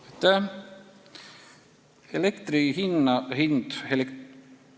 Aitäh!